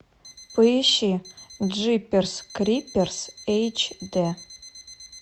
поищи джиперс криперс эйч д